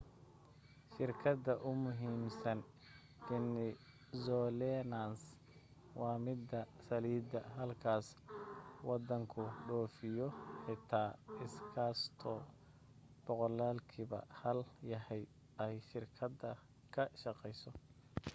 shirkada ugumuhiimsan venezuelans waa mida saliida halka wadanku dhoofiyo xitaa iskasto boqoqlkiiba hal yahay ay shirkada ka shaqayso